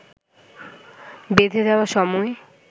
বেঁধে দেওয়া সময়